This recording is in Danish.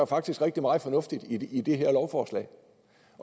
faktisk rigtig meget fornuft i det her lovforslag